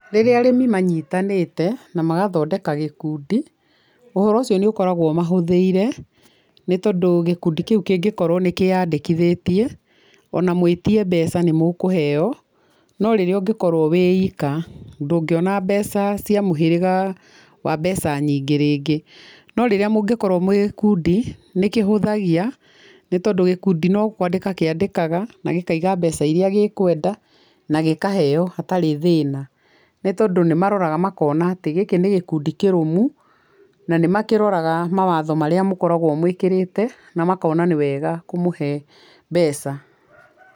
Rĩrĩa arĩmi manyitanĩte na magathondeka gĩkundi, ũhoro ũcio nĩ ukoragwo ũmahũthĩire, nĩ tondũ gĩkundĩ kĩu kĩngĩkorwo nĩ kĩyandĩkithĩtie, ona mũĩtie mbeca nĩ mũkũheo, no rĩrĩa ũngĩkorwo wĩ ika ndũngĩona mbeca cia mũhĩrĩga wa mbeca nyingĩ rĩngĩ, no rĩrĩa mũngĩkorwo mwĩ gĩkundi, nĩ kĩhũthagia nĩ tondũ gĩkundi no kwandĩka kĩandĩkaga nagĩkauga mbeca iria gĩkwenda na gĩkaheo hatarĩ thĩna. Nĩ tondũ nĩ maroraga makona atĩ gĩkĩ nĩ gĩkundi kĩrũmu na nĩ makĩroraga mawatho marĩa mũkoragwo mwĩkĩrĩte na makona nĩ weega kũmũhe mbeca.